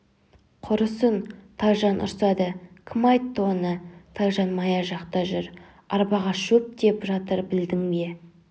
құрысын тайжан ұрсады кім айтты оны тайжан мая жақта жүр арбаға шөп тиеп жатыр білдің бе